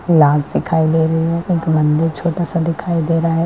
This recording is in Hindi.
लाल दिखाई दे रही है एक मंदिर छोटा-सा दिखाई दे रहा है।